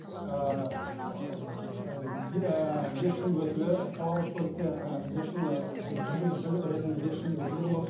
бес жыл өтілі қоғамдық көлікте ы бес жыл ы жүргізуші ретінде бес жыл өтілі